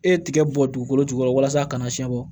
E ye tiga bɔ dugukolo jukɔrɔ walasa a kana siɲɛ bɔ